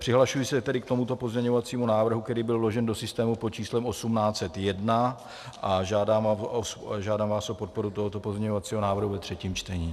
Přihlašuji se tedy k tomuto pozměňovacímu návrhu, který byl vložen do systému pod číslem 1801, a žádám vás o podporu tohoto pozměňovacího návrhu ve třetím čtení.